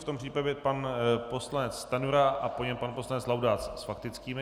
V tom případě pan poslanec Stanjura a po něm pan poslanec Laudát s faktickými.